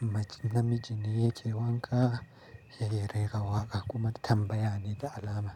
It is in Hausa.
Namiji ne yake wanka yake rera waƙa kuma tambaya ne da alama.